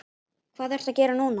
Hvað ertu að gera núna?